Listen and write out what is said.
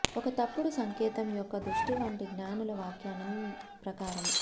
ఒక తప్పుడు సంకేతం యొక్క దృష్టి వంటి జ్ఞానుల వ్యాఖ్యానం ప్రకారం